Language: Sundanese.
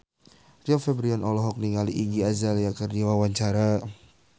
Rio Febrian olohok ningali Iggy Azalea keur diwawancara